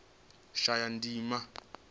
shayandima